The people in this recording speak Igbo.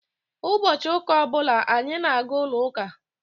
Ụbọchị ụka ọ bụla anyị na-aga n'ụlọ uka.